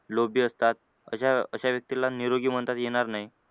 लोभी असतात अशा अशा व्यक्तीला निरोगी म्हणता येणार नाही.